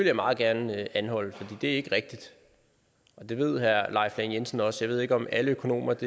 jeg meget gerne anholde for det er ikke rigtigt og det ved herre leif lahn jensen også ved ikke om alle økonomer